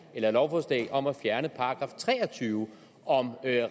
lovforslag om at fjerne § tre og tyve om